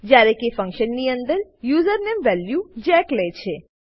જયારે કે ફંક્શન ની અંદર યુઝર નેમ વેલ્યુ જેક લે છે